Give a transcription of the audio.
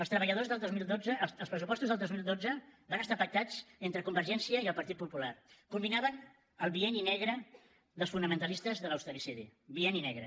els pressupostos del dos mil dotze van estar pactats entre convergència i el partit popular culminaven el bienni negre dels fonamentalistes de l’austericidi bienni negre